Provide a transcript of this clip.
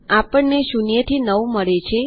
આપણને ૦ થી ૯ મળે છે